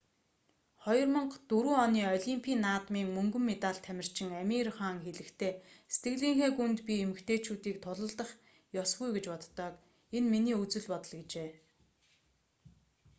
2004 оны олимпийн наадмын мөнгөн медальт тамирчин амир хан хэлэхдээ сэтгэлийнхээ гүнд би эмэгтэйчүүдийг тулалдах ёсгүй гэж боддог энэ миний үзэл бодол гэжээ